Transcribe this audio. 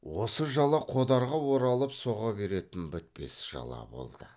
осы жала қодарға оралып соға беретін бітпес жала болды